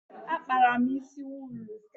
Akpara m isi wuulu.